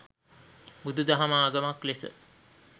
බුදු දහම ආගමක් ලෙස